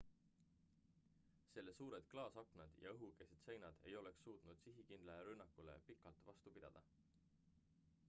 selle suured klaasaknad ja õhukesed seinad ei oleks suutnud sihikindlale rünnakule pikalt vastu pidada